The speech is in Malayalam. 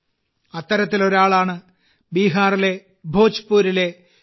അത്തരത്തിലൊരാളാണ് ബീഹാറിലെ ഭോജ്പൂരിലെ ശ്രീ